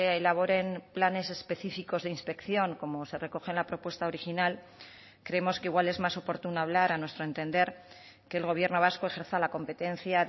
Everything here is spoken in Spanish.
elaboren planes específicos de inspección como se recoge en la propuesta original creemos que igual es más oportuno hablar a nuestro entender que el gobierno vasco ejerza la competencia